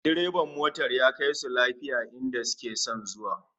Direban motar ya kaisu lafiya inda suke son zuwa